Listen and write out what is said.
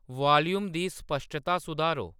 volume दी स्पश्टता सुधारो